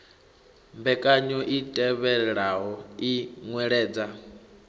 mbekanyo i tevhelaho i nweledza